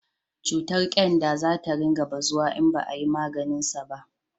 cutar kyanda za ta ringa bazawa in ba a yi maganinsa ba